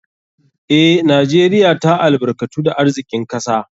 Eh, Najeriya ta albarkatu da arzikin kasa.